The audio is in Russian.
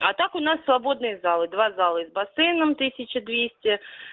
а так у нас свободные залы два зала и с бассейном тысяча двести